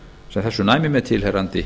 sem þessu næmi með tilheyrandi